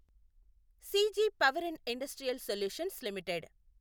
CG power and industrial solutions limited